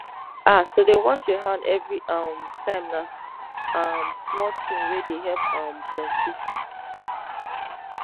ah to dey wash your hand every um time na um small thing wey dey help um plenty